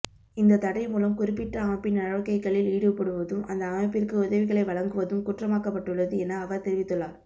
இந்த தடை மூலம் குறிப்பிட்ட அமைப்பின் நடவடிக்கைகளில் ஈடுபடுவதும் அந்த அமைப்பிற்கு உதவிகளை வழங்குவதும் குற்றமாக்கப்பட்டுள்ளது என அவர் தெரிவித்துள்ளார்